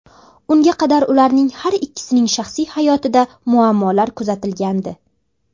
Unga qadar ularning har ikkisining shaxsiy hayotida muammolar kuzatilgandi.